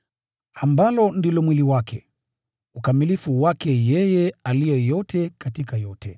ambalo ndilo mwili wake, ukamilifu wake yeye aliye yote katika yote.